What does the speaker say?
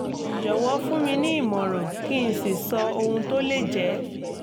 jọ̀wọ́ fún mi ní ìmọ̀ràn kí n sì sọ ohun tó lè jẹ́